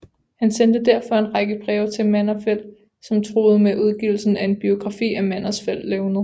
Han sendte derfor en række breve til Manderfeldt som truede med udgivelsen af en biografi af Manderfeldts levned